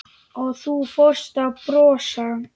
Og þú fórst að brosa.